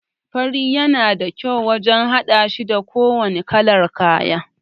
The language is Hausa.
Fari yana da kyau wajan haɗashi da kowanne kalar kaya